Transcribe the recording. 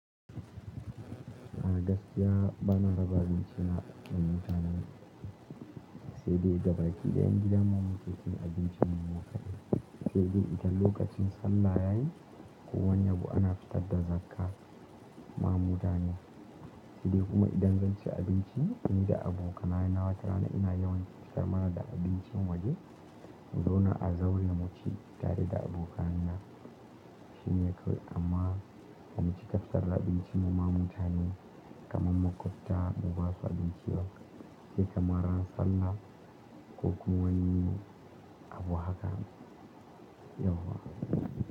A gaskiya bana raba abinci na ga mutane, sai dai gabaki da 'yan gidan mu muke cin abincin mu kaɗai. Sai dai idan lokacin sallah yayi ko wani abu ana fitar da zakka, ma mu dane. Sai dai kuma idan zan ci abinci ni da abokaina na watarana ina yawan fitar mana da abincin waje. Zauna a zaure mu ci tare da abokaina shine kawai amma, mu ci fitar da abinci mu ma mutane kamar makwabta mu ba su abinci ba sai kamar ran sallah ko kuma wani abu haka yauwa.